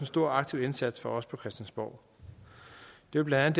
stor og aktiv indsats fra os på christiansborg det er blandt